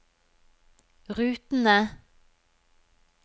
rutene